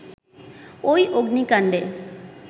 ঐ অগ্নিকাণ্ডে